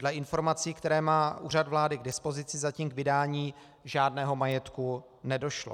Dle informací, které má Úřad vlády k dispozici, zatím k vydání žádného majetku nedošlo.